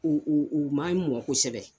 Eee u maɲi mɔn kosɛbɛ.